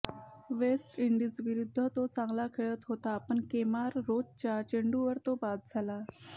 waste इंडिजविरुद्ध तो चांगल खेळत होता पण केमार रोचच्या चेंडूवर तो बाद झाला